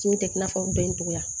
Kun tɛ i n'a fɔ u bɛ n togoya